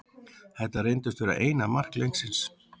Þetta reyndist vera eina mark leiksins.